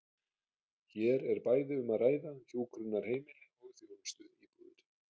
Hér er bæði um að ræða hjúkrunarheimili og þjónustuíbúðir.